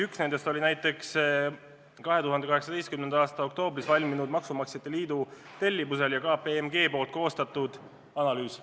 Üks nendest oli 2018. aasta oktoobris valminud maksumaksjate liidu tellimusel KPMG koostatud analüüs.